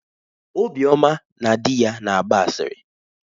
Obioma na di ya na-agba asịrị.